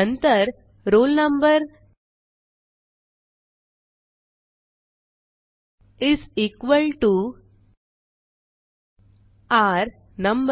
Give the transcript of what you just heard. नंतर roll number is equal to र number